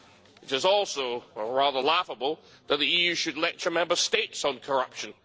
It is also rather laughable that the EU should lecture Member States on corruption.